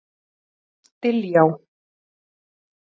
Diljá